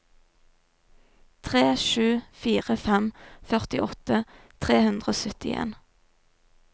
tre sju fire fem førtiåtte tre hundre og syttien